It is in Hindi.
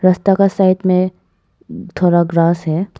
रस्ता का साइड में थोड़ा ग्रास है।